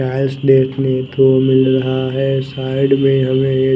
tiles देखने को मिल रहा है साईड में हमे एक --